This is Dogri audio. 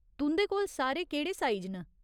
तुं'दे कोल सारे केह्ड़े साइज न ?